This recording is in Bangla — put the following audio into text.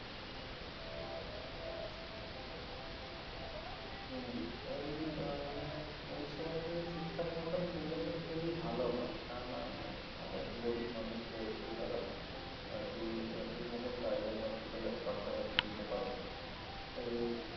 হম এই বা মানে পরিসেবাগুলো ঠিকঠাক মতন পেলে তো খুবই ভালো হয় তা না অনেক গরীব মানুষ রয়েছে যারা আরকি ঠিকমত private hospital এর খরচাপাতি দিতে পারবে না তো